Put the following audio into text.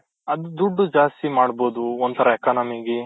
ಅದು ದುಡ್ಡು ಜಾಸ್ತಿ ಮಾಡ್ಬೋದು ಒಂಥರಾ economy ಗೆ